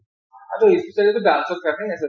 সেইটো specially টো dance ৰ কাৰণেই আছে